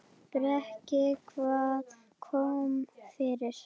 Breki: Hvað kom fyrir?